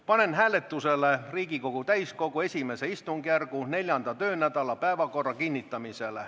Panen hääletusele Riigikogu täiskogu I stungjärgu 4. töönädala päevakorra kinnitamise.